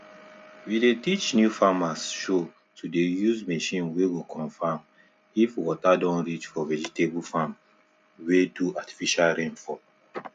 we dey teach new farmershow to the dey use machine wey go confirm if water don reach for vegetable farm we do artifical rain for